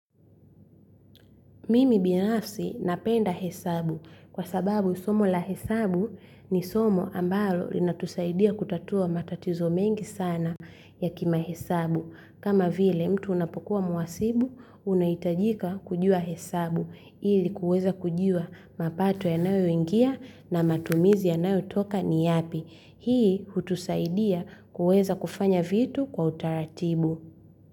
Mimi binafsi napenda hesabu. Kwa sababu somo la hesabu, ni somo ambalo linatusaidia kutatua matatizo mengi sana ya kimahesabu. Kama vile mtu unapokuwa mhasibu, unahitajika kujua hesabu ili kuweza kujua mapato yanayoingia na matumizi yanayotoka ni yapi. Hii, hutusaidia kuweza kufanya vitu kwa utaratibu.